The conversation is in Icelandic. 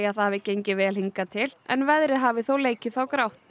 það hafi gengið vel hingað til en veðrið hafi þó leikið þá grátt